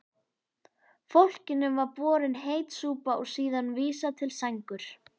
Fólkinu var borin heit súpa og síðan vísað til sængur.